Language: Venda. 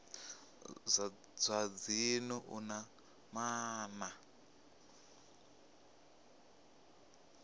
zwa dzinnu u na maana